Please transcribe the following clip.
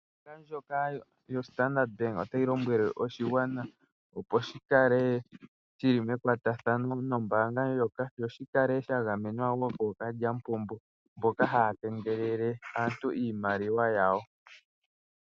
Ombaanga ndjoka yo Standard bank ota yi lombwele oshigwana opo shikale shili me kwatathano ndjoka, yo shikale sha gamenwa woo ko kadjampombo mboka haya kengelele aantu iimaliwa yawo.